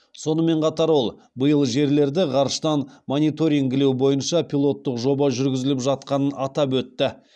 сонымен қатар ол биыл жерлерді ғарыштан мониторингілеу бойынша пилоттық жоба жүргізіліп жатқанын атап өтті